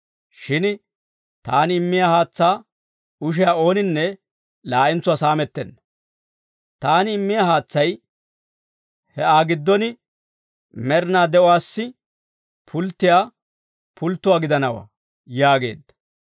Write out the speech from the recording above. Shin taani immiyaa haatsaa ushiyaa ooninne laa'entsuwaa saamettenna. Taani immiyaa haatsay he Aa giddon med'inaa de'uwaassi pulttiyaa pulttuwaa gidanawaa» yaageedda.